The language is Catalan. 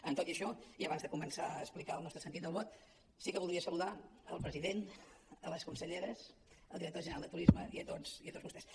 amb tot i això i abans de començar a explicar el nostre sentit del vot sí que voldria saludar el president les conselleres el director general de turisme i tots vostès